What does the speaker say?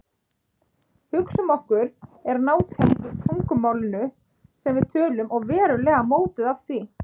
Hugsun okkar er nátengd tungumálinu sem við tölum og verulega mótuð af því.